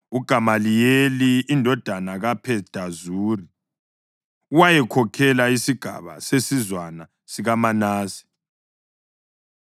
UGamaliyeli indodana kaPhedazuri wayekhokhele isigaba sesizwana sikaManase,